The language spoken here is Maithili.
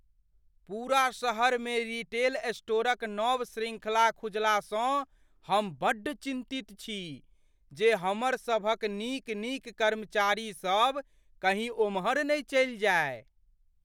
पूरा शहरमे रीटेल स्टोरक नव शृंखला खुजलासँ हम बड्ड चिन्तित छी जे हमरसभक नीक नीक कर्मचारी सब कही ओम्हर नहि चलि जाय।